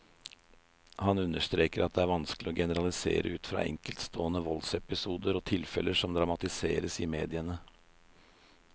Han understreker at det vanskelig å generalisere ut fra enkeltstående voldsepisoder og tilfeller som dramatiseres i mediene.